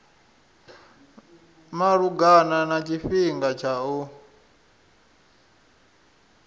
malugana na tshifhinga tsha u